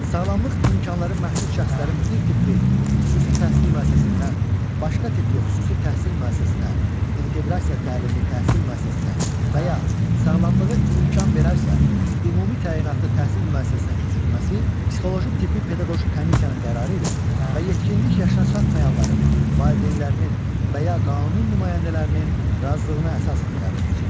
Sağlamlıq imkanları məhdud şəxslərin bir tipli xüsusi təhsil müəssisəsindən başqa tipli xüsusi təhsil müəssisəsinə, inteqrasiya təlimini təhsil müəssisəsinə və ya sağlamlığı imkan verərsə, ümumi təyinatlı təhsil müəssisəsinə köçürülməsi psixoloji tibbi-pedaqoji komissiyanın qərarı ilə və yetkinlik yaşına çatmayanların valideynlərinin və ya qanuni nümayəndələrinin razılığına əsasən həyata keçirilir.